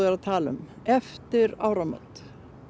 að tala um eftir áramót